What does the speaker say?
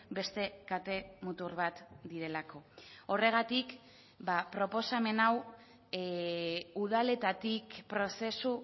beste kate mutur bat direlako horregatik proposamen hau udaletatik prozesu